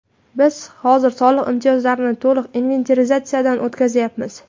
Biz hozir soliq imtiyozlarini to‘liq inventarizatsiyadan o‘tkazyapmiz.